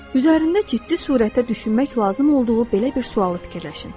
Üzərində ciddi sürətlə düşünmək lazım olduğu belə bir sualı fikirləşin.